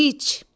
İç!